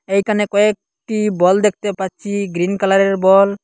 এইখানে কয়েকটি বল দেখতে পাচ্ছি গ্রীন কালারের বল ।